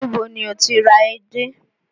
Ni bo ni ó ti ra edé?